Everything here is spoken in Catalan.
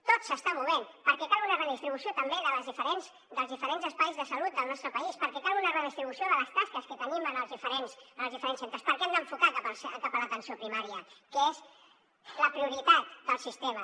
tot s’està movent perquè cal una redistribució també dels diferents espais de salut del nostre país perquè cal una redistribució de les tasques que tenim en els diferents centres perquè hem d’enfocar cap a l’atenció primària que és la prioritat del sistema